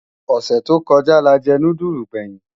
Osè tó kòjá lájè núdúlú gbèyin